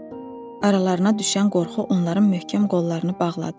Aralarına düşən qorxu onların möhkəm qollarını bağladı.